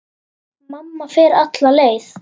Mamma fer alla leið.